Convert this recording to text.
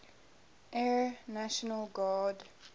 air national guard